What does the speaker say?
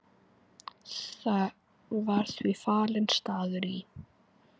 Var því valinn staður í